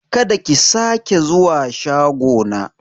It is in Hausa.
Kada ki sake zuwa shago na!